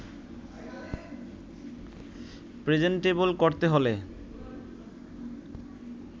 presentable করতে হলে